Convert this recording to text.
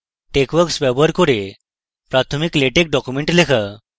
texworks ব্যবহার করে প্রাথমিক latex document লেখা